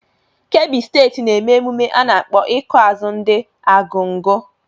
Kebbi steeti na-eme emume a nakpọ ịkụ azụ ndi Argungu.